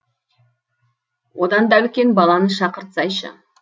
одан да үлкен баланы шақыртсайшы